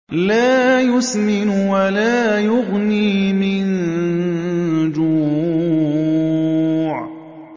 لَّا يُسْمِنُ وَلَا يُغْنِي مِن جُوعٍ